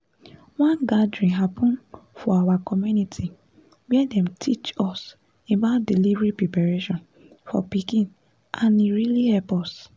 one gathering happen for our community where them teachs us about delivery preparation for pikin and e really help us